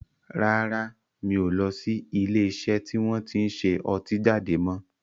Rárá, mi ò lọ sí ilé iṣẹ́ tí wọn tin ṣe ọtí jáde mọ́